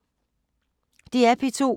DR P2